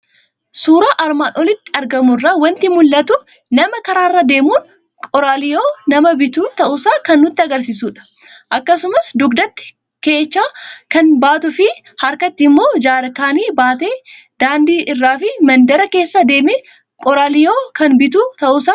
Suuraa armaan olitti argamu irraa waanti mul'atu; nama karaarra deemun, qoraaliyoo nama bitu ta'uusaa kan nutti agarsiisudha. Akkasumas dugdatti keechaa kan baatuufi, harkatti immoo jaarkanii baatee baatee daandii irraafi mandara keessa deeme qoraaliyoo kan bitu ta'uusaa kan nutti agarsiisudha.